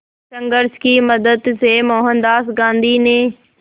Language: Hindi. संघर्ष की मदद से मोहनदास गांधी ने